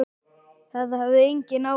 Það hafði engin áhrif.